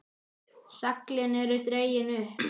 Seglin eru dregin upp.